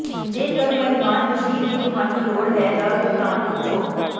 ਜੇਕਰ ਮਹਿਮਾਨ ਮਸ਼ੀਨ ਦੀ ਤੁਹਾਨੂੰ ਲੋੜ ਹੈ ਦਾ ਭੁਗਤਾਨ ਪੁੱਛੋ